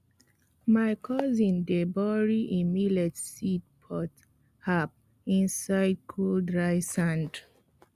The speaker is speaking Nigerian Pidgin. my cousin dey bury e millet seed pot half inside cold dry sand